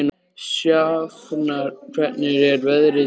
Sjafnar, hvernig er veðrið í dag?